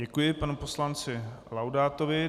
Děkuji panu poslanci Laudátovi.